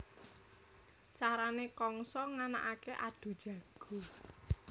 Carané Kangsa nganakaké adhu jago